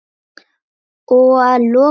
Og að lokum, Herdís.